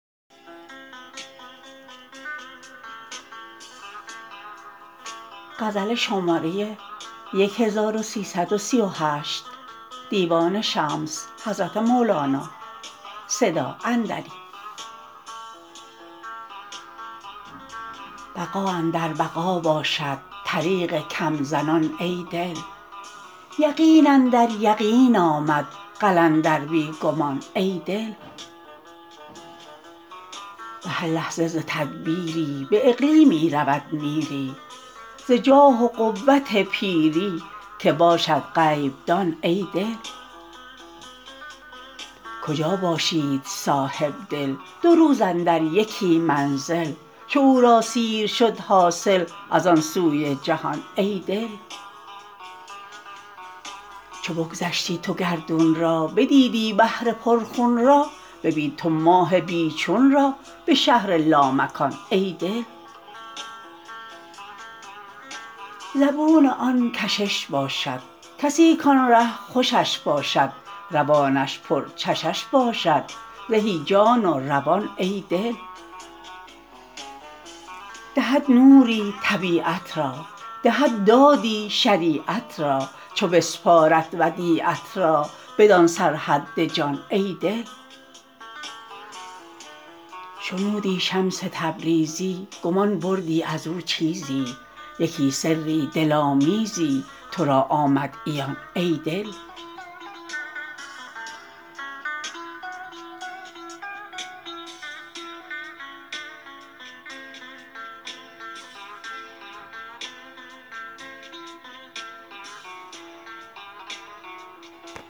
بقا اندر بقا باشد طریق کم زنان ای دل یقین اندر یقین آمد قلندر بی گمان ای دل به هر لحظه ز تدبیری به اقلیمی رود میری ز جاه و قوت پیری که باشد غیب دان ای دل کجا باشید صاحب دل دو روز اندر یکی منزل چو او را سیر شد حاصل از آن سوی جهان ای دل چو بگذشتی تو گردون را بدیدی بحر پرخون را ببین تو ماه بی چون را به شهر لامکان ای دل زبون آن کشش باشد کسی کان ره خوشش باشد روانش پرچشش باشد زهی جان و روان ای دل دهد نوری طبیعت را دهد دادی شریعت را چو بسپارد ودیعت را بدان سرحد جان ای دل شنودی شمس تبریزی گمان بردی از او چیزی یکی سری دل آمیزی تو را آمد عیان ای دل